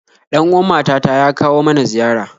Ɗan uwan mata ta ya kawo mana ziyara